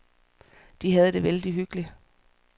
De havde det vældig hyggeligt.